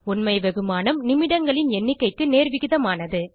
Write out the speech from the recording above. உண்மை வெகுமானம் நிமிடங்களின் எண்ணிக்கைக்கு நேர்விகிதமானது